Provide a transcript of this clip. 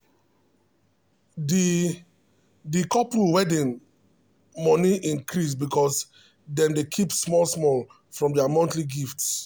the the couple wedding money increase because dem dey keep small from their monthly gifts.